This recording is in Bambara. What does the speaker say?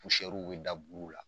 bi da buru la.